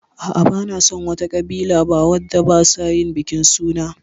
Ah ah, ban san wa ta ƙabila ba wadda ba sa yin bikin suna